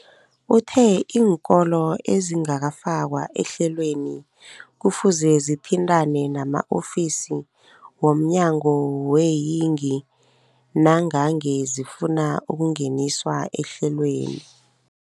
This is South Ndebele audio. Uthe iinkolo ezingakafakwa ehlelweneli kufuze zithintane nama-ofisi womnyango weeyingi nangange zifuna ukungeniswa ehlelweni.